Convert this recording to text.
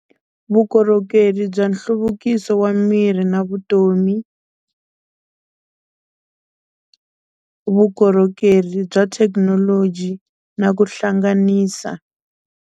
Vukorhokeri bya nhluvukiso wa miri na vutomi vukorhokeri bya thekinoloji na ku hlanganisa.